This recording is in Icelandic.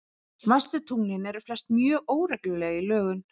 Smæstu tunglin eru flest mjög óregluleg í lögun.